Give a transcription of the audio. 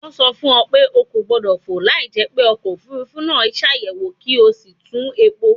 Wọ́n sọ fún ọ pé o kò gbọ́dọ̀ fò láìjẹ́ pé ọkọ̀ òfuurufú náà ṣàyẹ̀wò kí o sì tún epo